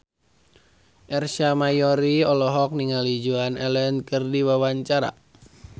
Ersa Mayori olohok ningali Joan Allen keur diwawancara